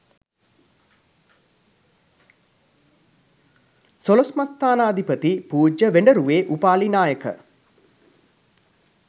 සොළොස්මස්ථානාධිපති පූජ්‍ය වේඩරුවේ උපාලි නායක